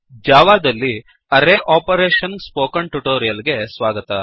ಜಾವಾದಲ್ಲಿ array operation spoken tutorial ಗೆ ಸ್ವಾಗತ